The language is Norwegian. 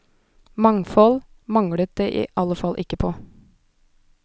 Mangfold manglet det i alle fall ikke på.